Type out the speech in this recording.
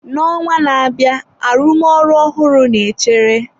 N'ọnwa na-abịa, arụmọrụ ọhụrụ na-echere.